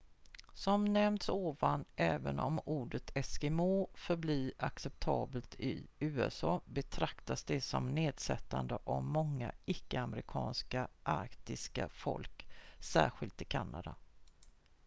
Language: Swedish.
"som nämnts ovan även om ordet "eskimo" förblir acceptabelt i usa betraktas det som nedsättande av många icke-amerikanska arktiska folk särskilt i kanada.